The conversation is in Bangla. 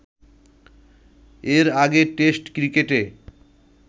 এর আগে টেস্ট ক্রিকেটে